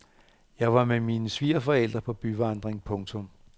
Jeg var med mine svigerforældre på byvandring. punktum